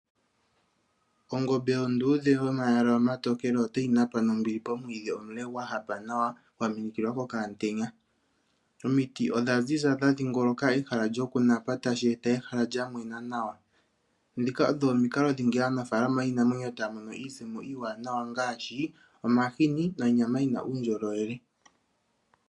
Ongombe onduudhe yatya omayala omatookele otayi napa nombili momwiidhi omule gwa hapa nawa gwa minikilwa kokamutenya. Omiti odha ziza dha dhingoloka ehala lyoku napa tashi eta ehala lya mwena nawa. Ndhika odho omikalo dhimwe moka aanafalama haya mono iisimpo iiwanawa ngaashi omahini nonyama yina uundjolowele.